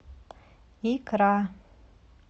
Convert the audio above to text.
икра